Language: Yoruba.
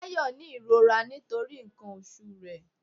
Táyọ ni ìrora nítorí nkan oṣù re